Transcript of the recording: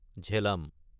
Jhelum